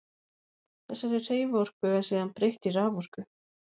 Þessari hreyfiorku er síðan breytt í raforku.